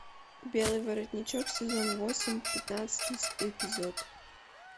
белый воротничок сезон восемь пятнадцатый эпизод